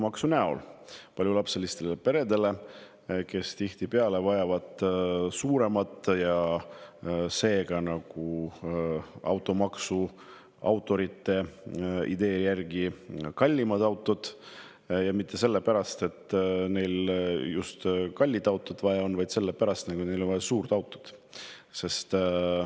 vajavad tihtipeale suuremat ja seega automaksu autorite idee järgi kallimat autot, mitte sellepärast, et neil just kallist autot vaja on, vaid sellepärast, et neil on vaja suurt autot.